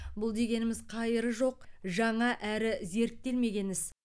бұл дегеніміз қайыры жоқ жаңа әрі зерттелмеген іс